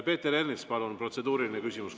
Peeter Ernits, palun, protseduuriline küsimus!